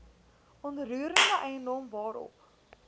onroerende eiendom waarop